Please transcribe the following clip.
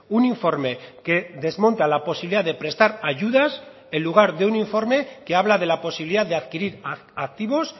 un informe que desmonta la posibilidad de prestar ayudas en lugar de un informe que habla de la posibilidad de adquirir activos